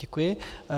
Děkuji.